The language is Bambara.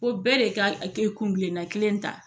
Ko bɛɛ de ka kɛ kun kelenna kelen ta.